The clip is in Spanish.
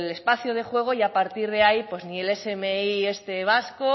espacio de juego y a partir de ahí ni el smi este vasco